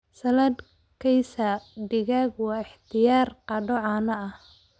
Salad Kaysar digaaga waa ikhtiyaar qado caan ah.